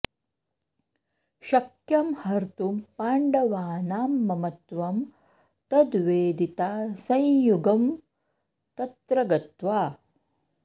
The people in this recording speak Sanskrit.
शक्यं हर्तुं पाण्डवानां ममत्वं तद्वेदिता संयुगं तत्र गत्वा